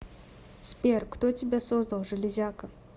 сбер кто тебя создал железяка